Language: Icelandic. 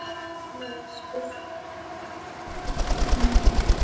Laglega spurt!